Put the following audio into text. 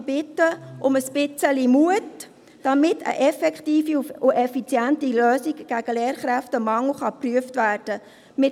Ich bitte um ein bisschen Mut, damit eine effektive und effiziente Lösung gegen den Lehrkräftemangel geprüft werden kann.